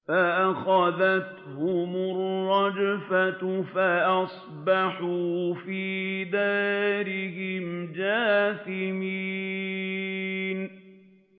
فَأَخَذَتْهُمُ الرَّجْفَةُ فَأَصْبَحُوا فِي دَارِهِمْ جَاثِمِينَ